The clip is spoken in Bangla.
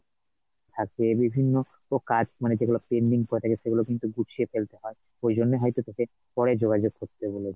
থাকে বিভিন্ন কাজ মানে যেগুলো pending পরে থাকে, সেগুলো কিন্তু গুছিয়ে ফেলতে হয় ঐজন্য হয়তো, তোকে পরে যোগাযোগ করতে বলে